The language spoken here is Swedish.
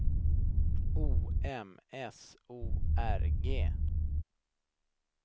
O M S O R G